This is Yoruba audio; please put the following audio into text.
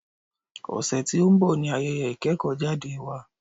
Ọ̀sẹ̀ tí o ń bọ̀ ní ayẹyẹ ìkẹ́kọ̀jáde wa.